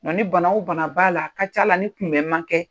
Wa ni bana o bana b'a la a ka ca' la ni tinɛ man kɛ